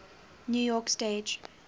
new york stage